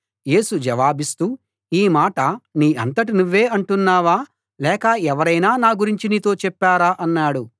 యేసు జవాబిస్తూ ఈ మాట నీ అంతట నువ్వే అంటున్నావా లేక ఎవరైనా నా గురించి నీతో చెప్పారా అన్నాడు